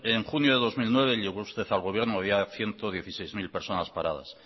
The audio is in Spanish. en junio de dos mil nueve llegó usted al gobierno y había ciento dieciséis mil personas paradas